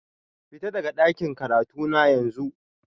Fita daga dakin karatuna yanzu